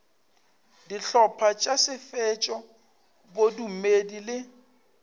dihlopha tša setšo bodumedi le